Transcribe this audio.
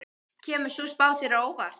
Kemur sú spá þér á óvart?